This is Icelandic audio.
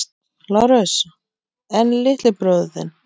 LÁRUS: En litli bróðir þinn?